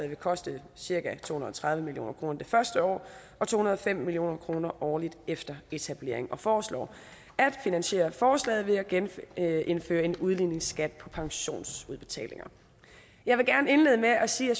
vil koste cirka to hundrede og tredive million kroner det første år og to hundrede og fem million kroner årligt efter etablering og de foreslår at finansiere forslaget ved at genindføre en udligningsskat på pensionsudbetalinger jeg vil gerne indlede med at sige at